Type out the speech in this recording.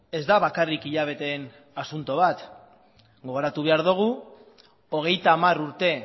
ez da bakarrik hilabeteen asunto bat gogoratu behar dugu hogeita hamar urte